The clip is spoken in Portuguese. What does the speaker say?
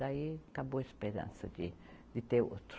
Daí, acabou a esperança de, de ter outro.